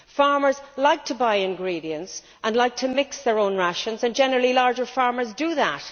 Farmers like to buy ingredients and to mix their own rations, and generally larger farmers do this.